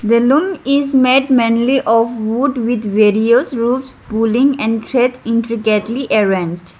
the loom is made mainly of wood with various roopes pulling and thread intricately arrange.